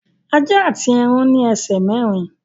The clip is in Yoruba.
Ajá àti ẹran ní ẹsẹ̀ mẹ́rin